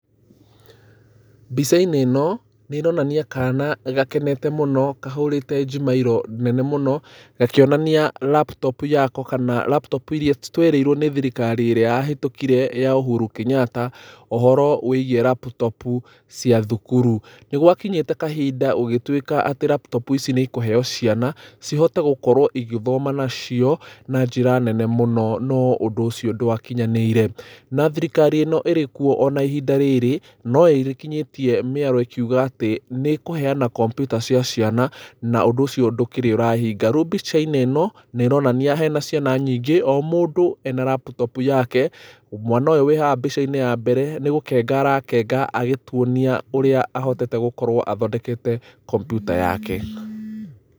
Mbica-inĩ ĩno nĩ ĩronania kana gakene mũno, kahũrĩte njimairũ nene mũno, gakĩonania laptop yako kana laptop iria twerĩirwo nĩ thirikari ĩrĩa ya hĩtũkire ya Uhuru Kenyatta, ũhoro wĩgiĩ laptop cia thukuru. Nĩ gwakinyĩte kahinda gũgĩtuĩka atĩ laptop ici nĩ ikũheyo ciana, cihote gũkorwo igĩthoma nacio na njĩra nene mũno, no ũndũ ũcio ndwakinyanĩire. Na thirikari ĩno ĩrikuo ona ihinda rĩrĩ no ĩkinyĩtie mĩario ĩkiuga atĩ nĩ ĩkũheana kompiuta cia ciana, na ũndũ ũcio ndũkĩrĩ ũrahinga. Rĩu mbica-inĩ ĩno nĩ ĩronania hena ciana nyingĩ o mũndũ ena laptop yake, mwana ũyũ wĩ haha mbica-inĩ ya mbere nĩ gũkenga arakenga, agĩtuonia ũria ahotete gũkorwo athondekete kompiuta yake.